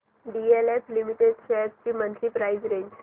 DLF limited shares ची monthly price range